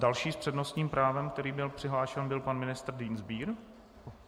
Další s přednostním právem, který byl přihlášen, byl pan ministr Dienstbier.